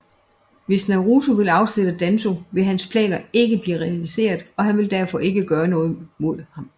Hvis Naruto ville afsætte Danzō vil hans planer ikke blive realiseret og han vil derfor ikke gøre noget mod ham